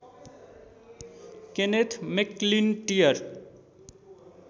Kenneth McIntyre